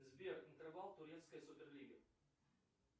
сбер интервал турецкой суперлиги